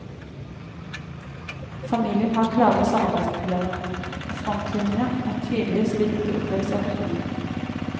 Familien har klare samarbeidsproblemer, og frontlinjene er tydelige slik de oppleves av guttungen.